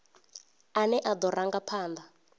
ane a do ranga phanda